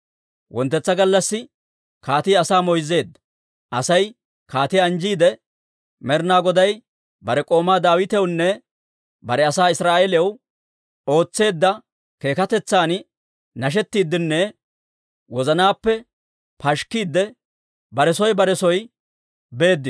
Wonttetsa gallassi kaatii asaa moyzzeedda; Asay kaatiyaa anjjiide, Med'inaa Goday bare k'oomaa Daawitewunne bare asaa Israa'eeliyaw ootseedda keekkatetsan nashettiiddenne wozanaappe pashikkiidde, bare soo bare soo beedda.